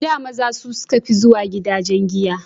A da maza suka fi zuwa gidajen giya